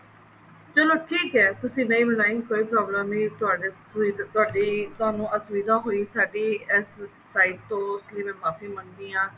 ਚੱਲੋ ਠੀਕ ਹੈ ਤੁਸੀਂ ਨਹੀਂ ਬਣਾਈ ਕੋਈ problem ਨਹੀਂ ਤੁਹਾਨੂੰ ਅਸੁਵਿਧਾ ਹੋਈ ਸਾਡੀ ਇਸ sight ਤੋਂ ਇਸਲਈ ਮੈਂ ਮਾਫ਼ੀ ਮੰਗਦੀ ਹਾਂ